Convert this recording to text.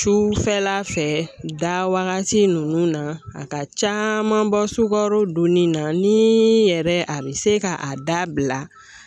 Cufɛla fɛ dawagati nunnu na a ka caaman bɔ sugaro dun ni na ni yɛrɛ a be se ka a dabila